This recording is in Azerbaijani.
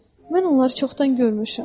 Mən onları çoxdan görmüşəm.